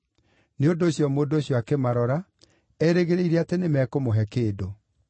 Nĩ ũndũ ũcio mũndũ ũcio akĩmarora, erĩgĩrĩire atĩ nĩmekũmũhe kĩndũ.